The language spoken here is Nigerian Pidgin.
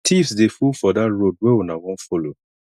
tiffs dey full for dat road wey una wan folo